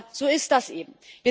Aber so ist das eben.